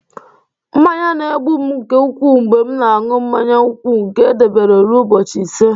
Mmanya na-egbu m nke ukwuu mgbe m na-aṅụ mmanya nkwụ nke e debere ruo ụbọchị ise